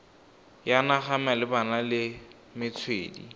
ya naga malebana le metswedi